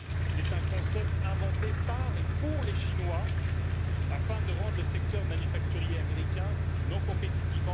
C'est un concept inventé par et pour les Chinois, afin de rendre le secteur manufacturier américain non compétitif.